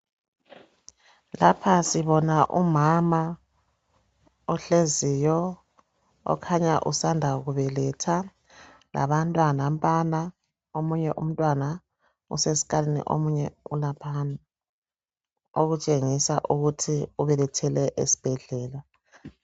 Lapha sibona umama ohleziyo okhanya usanda kubeletha labantwana nampana omunye umntwana usesikalini omunye ulaphana okutshengisa ukuthi ubelethele esibhedlela.